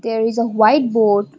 there is a white board.